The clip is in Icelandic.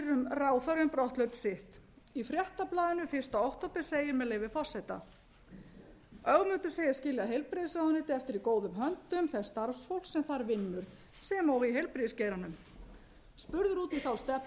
ráðherra um brotthlaup sitt í fréttablaðinu fyrsta október segir með leyfi forseta ögmundur segist skilja heilbrigðisráðuneytið eftir í góðum höndum þess starfsfólks sem þar vinnur sem og í heilbrigðisgeiranum spurður út í þá